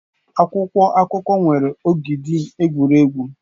Akwụkwọ akụkọ nwere ogidi egwuregwu.